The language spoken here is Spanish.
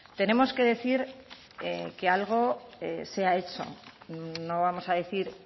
tenemos que decir que algo se ha hecho no vamos a decir